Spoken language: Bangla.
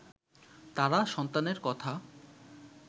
তারা সন্তানের কথা